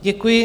Děkuji.